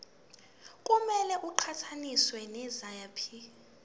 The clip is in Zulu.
kumele iqhathaniswe naziphi